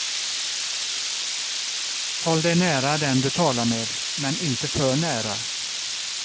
Håll dig nära den du talar med men inte för nära.